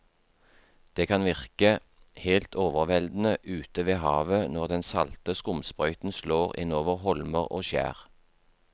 Det kan virke helt overveldende ute ved havet når den salte skumsprøyten slår innover holmer og skjær.